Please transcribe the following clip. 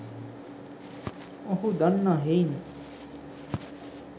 ඔහු දන්නා හෙයිනි.